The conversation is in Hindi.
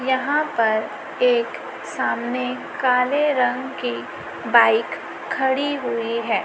यहां पर एक सामने काले रंग की बाइक खड़ी हुई है।